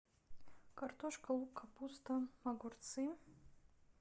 картошка лук капуста огурцы